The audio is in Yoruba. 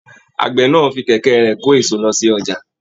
Àgbẹ náà fí kẹkẹ rẹ kò eso lọ sí ọjà.